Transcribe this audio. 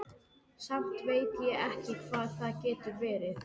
Samt veit ég ekki hvað það getur verið.